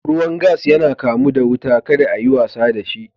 Ruwan gas yana kamu da wuta, ka da a yi wasa da shi.